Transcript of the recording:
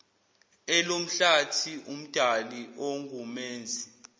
elomhlathi umdali ongumenzi